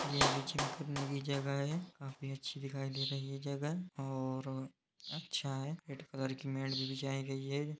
यह भी जिम करने की जगह है काफी अच्छी दिखाई दे रही है जगह और अच्छा है रेड कलर की मैट भी बिछाई गई है।